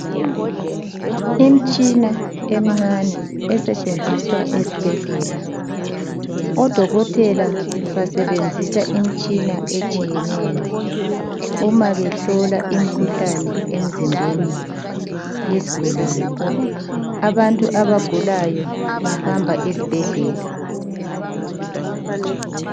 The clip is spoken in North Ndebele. Imtshina emncane esetshenziswa esibhedlela. Odokotela besebenzisa imitshina etshiyeneyo uma behlola imikhuhlane emzimbeni yesigulane. Abantu abagulayo bahamba esibhedlela.